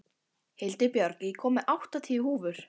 Hildibjörg, ég kom með áttatíu húfur!